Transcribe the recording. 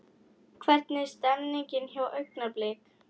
Hvernig er stemningin hjá Augnablik?